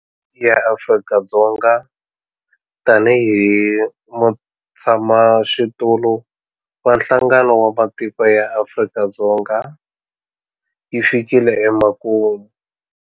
Theme ya Afrika-Dzonga tanihi mutshamaxitulu wa Nhlangano wa Matiko ya Afrika yi fikile emakumu.